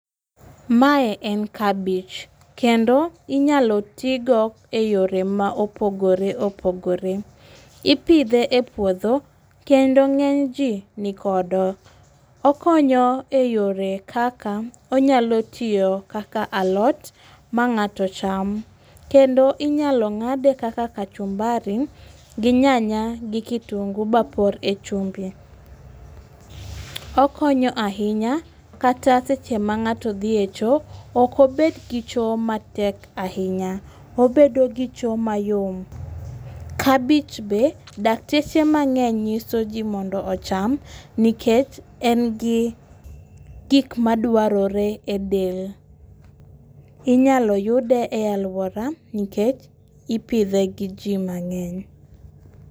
Mae en kabich kendo inyalo ti go e yore ma opogore opogore , ipithe e puotho kendo ng'enyji nikodo, okonyo e yore kaka onyalo tiyo kaka alot ma ng'ato cham kendo inyalo ng'ade kaka kachumbari gi nyanya gi kitungu mapor e chumbi, okonyo ahinya kata seche mang'ato dhie cho oko bed gi cho matek ahinya obedo gi cho mayom. Kabich be dakteche mang'eny nyisoji mondo ocham nikech en gi gik maduarore e del. Inyalo yude e aluora nikech ipithe gi ji mang'eny